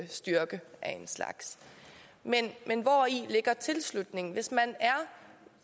styrke af en slags men hvori ligger tilslutningen hvis man er